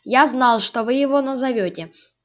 я знал что вы его назовёте